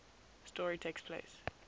story takes place